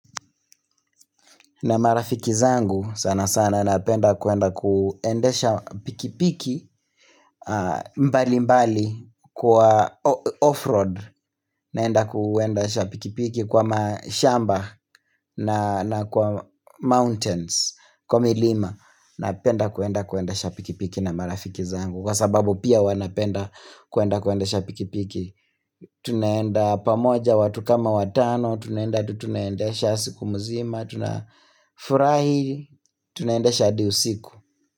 Na marafiki zangu sana sana napenda kwenda kuendesha pikipiki mbali mbali kwa off-road naenda kuendesha pikipiki kwa mashamba na kwa mountains kwa milima Napenda kuenda kuendesha pikipiki na marafiki zangu Kwa sababu pia wanapenda kuenda kuendesha pikipiki Tunaenda pamoja watu kama watano, tunaenda tutunaenda shasiku mzima, tuna furahi, tunaendesha hadi usiku.